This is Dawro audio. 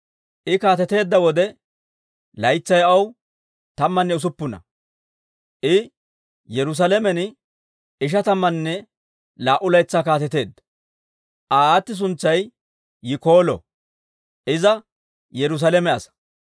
I kaateteedda wode, laytsay aw tammanne usuppuna; I Yerusaalamen ishatamanne laa"u laytsaa kaateteedda. Aa aati suntsay Yikoolo; iza Yerusaalame asaa.